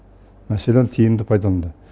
мәселені тиімді пайдаланды